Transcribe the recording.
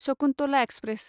Shakuntala express